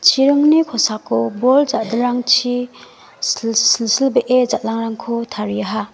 chiringni kosako bol ja·dilrangchi sil silbee jal·angrangko tariaha.